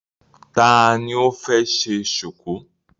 Ta ni ó fẹ́ ṣe ṣùkú?